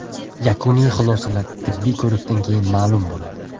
Yakuniy xulosalar tibbiy ko‘rikdan keyin ma’lum bo‘ladi.